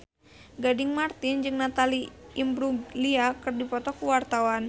Gading Marten jeung Natalie Imbruglia keur dipoto ku wartawan